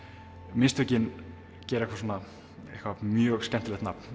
mistökin gera mjög skemmtilegt nafn